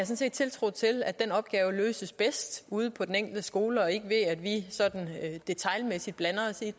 set tiltro til at den opgave løses bedst ude på den enkelte skole og ikke ved at vi sådan detailmæssigt blander os i